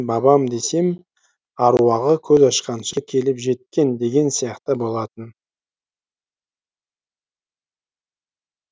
бабам десем аруағы көз ашқанша келіп жеткен деген сияқты болатын